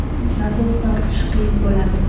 Nasos tortishi qiyin bo‘ladi.